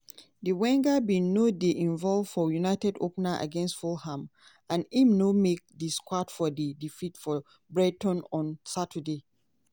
di winger bin no dey involved for united opener against fulham and im no make di squad for di defeat for brighton on saturday.